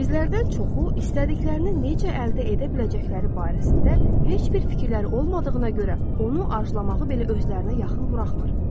Bizlərdən çoxu istədiklərini necə əldə edə biləcəkləri barəsində heç bir fikirləri olmadığına görə, onu arzulamağı belə özlərinə yaxın buraxmır.